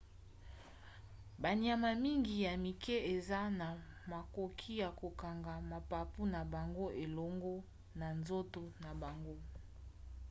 banyama mingi ya mike eza na makoki ya kokanga mapapu na bango elongo na nzoto na bango